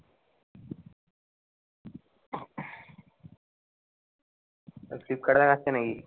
flipkart এ দেখাচ্ছে নাকি?